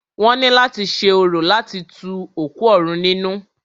Wọ́n ní láti ṣe orò láti tu òkú òrun nínú.